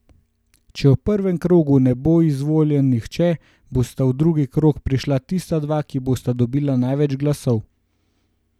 Če v prvem krogu ne bo izvoljen nihče, bosta v drugi krog prišla tista dva, ki bosta dobila največ glasov.